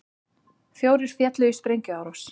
Fjórir féllu í sprengjuárás